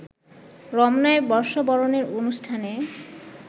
রমনায় বর্ষবরণের অনুষ্ঠানে